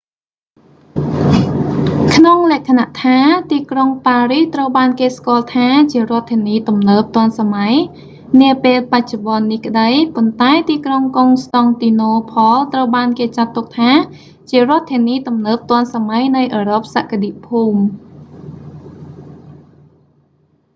ក្នុងលក្ខណៈថា ទីក្រុងប៉ារីសត្រូវបានគេស្គាល់ថាជារដ្ឋធានីទំនើបទាន់សម័យនាពេលបច្ចុប្បន្ននេះក្ដី ប៉ុន្តែទីក្រុងកុងស្ដង់ទីណូផល ត្រូវបានគេចាត់ទុកថាជារដ្ឋធានីទំនើបទាន់សម័យនៃអឺរ៉ុបសក្តិភូមិ